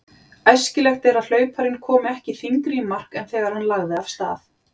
Æskilegt er að hlauparinn komi ekki þyngri í mark en þegar hann lagði af stað.